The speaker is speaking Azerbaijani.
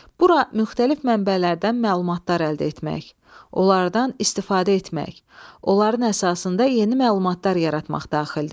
Bura müxtəlif mənbələrdən məlumatlar əldə etmək, onlardan istifadə etmək, onların əsasında yeni məlumatlar yaratmaq daxildir.